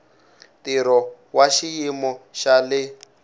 ntirho wa xiyimo xa le